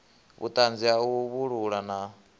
vhuṱanzi ha u vhalulula na